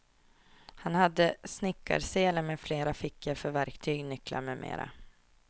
Han hade snickarsele med flera fickor för verktyg, nycklar med mera.